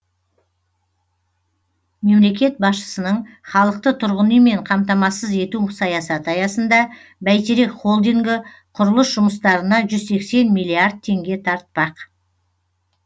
мемлекет басшысының халықты тұрғын үймен қамтамасыз ету саясаты аясында бәйтерек холдингі құрылыс жұмыстарына жүз сексен миллиард теңге тартпақ